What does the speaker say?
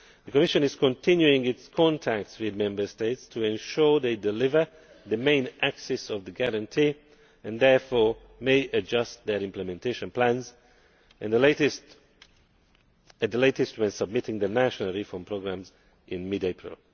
The Commission is continuing its contacts with Member States to ensure they deliver the main axis of the Guarantee and therefore may adjust their Implementation Plans at the latest when submitting their National Reform Programmes in mid April.